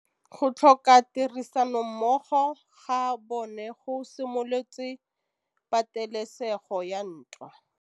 Go tlhoka tirsanommogo ga bone go simolotse patêlêsêgô ya ntwa.